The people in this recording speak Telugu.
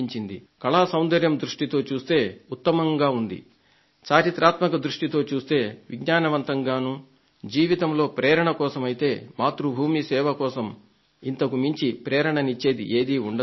కళా సౌందర్యం దృష్టితో చూస్తే ఉత్తమంగా ఉంది చరిత్రాత్మక దృష్టితో చూస్తే విజ్ఞానవంతంగానూ జీవితంలో ప్రేరణ కోసమైతే మాతృభూమి సేవ కోసం ఇంతకుమించి ప్రేరణనిచ్చేది ఏదీ ఉండదు